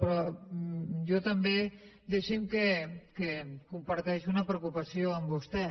però jo també deixi’m que comparteixi una preocupació amb vostè